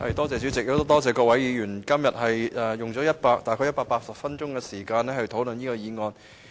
主席，多謝各位議員今天用了大約180分鐘時間討論我的議案。